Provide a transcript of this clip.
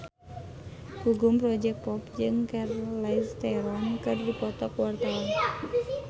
Gugum Project Pop jeung Charlize Theron keur dipoto ku wartawan